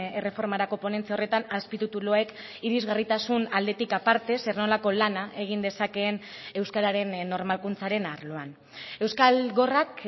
erreformarako ponentzia horretan azpitituluek irisgarritasun aldetik aparte zer nolako lana egin dezakeen euskararen normalkuntzaren arloan euskal gorrak